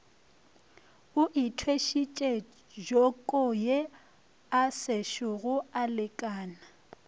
o ithwešitše jokoye asešogo alekana